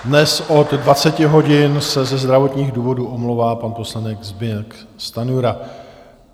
Dnes od 20 hodin se ze zdravotních důvodů omlouvá pan poslanec Zbyněk Stanjura.